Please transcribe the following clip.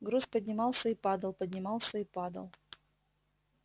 груз поднимался и падал поднимался и падал